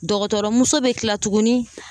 Dɔgɔtɔrɔmuso bɛ kila tuguni